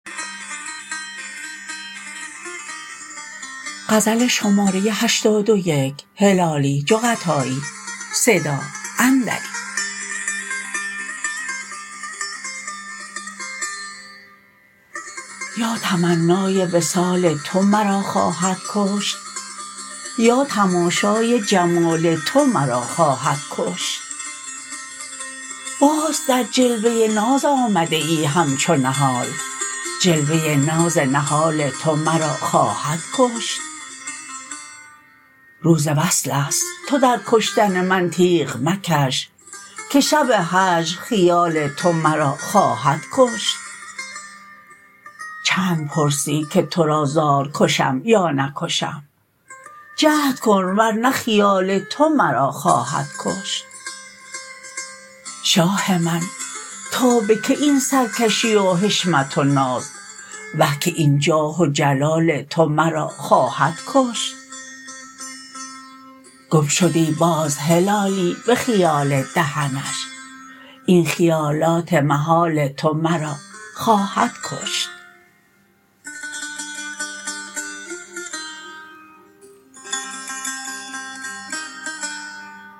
یا تمنای وصال تو مرا خواهد کشت یا تماشای جمال تو مرا خواهد کشت باز در جلوه ناز آمده ای همچو نهال جلوه ناز نهال تو مرا خواهد کشت روز وصلست تو در کشتن من تیغ مکش که شب هجر خیال تو مرا خواهد کشت چند پرسی که ترا زار کشم یا نکشم جهد کن ور نه خیال تو مرا خواهد کشت شاه من تا بکی این سر کشی و حشمت و ناز وه که این جاه و جلال تو مرا خواهد کشت گم شدی باز هلالی بخیال دهنش این خیالات محال تو مرا خواهد کشت